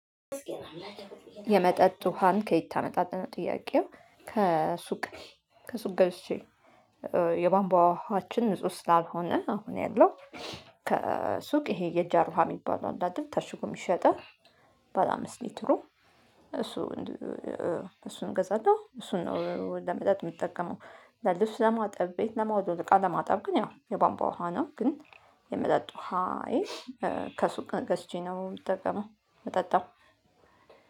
የመጠጥ ውሃን ከየት ታመጣለህ ነው ጥያቄው ከሱቅ ከሱቅ ገዝቼ የቧንቧ ውሃ ውሃችን ንጹህ ስላልሆነ አሁን ያለው ከሱቅ ይሄ የጃር ውሃ የሚባለው አለ አይደል ታሽጎ የሚሸጠው ባለ አምስት ሊትሩ እሱ እሱን እገዛለሁ። እሱን ነው ለመጠጥ የምጠቀመው ለልብስ ለማጠብ ፥ቤት ለመወልወል፥ እቃ ማጠብ ግን ያው የባንባ ውሃ ነው ግን የመጣጥ ውሃዬን ከሱቅ ገዝቼ ነው የምጠቀመው የምጠጣው